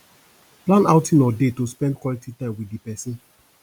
plan outing or date to spend quality time with di person